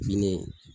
Fini